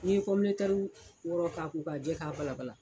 N'i ye komiɛtɛri wɔɔrɔ k'a ko k'a jɛ k'a balabala.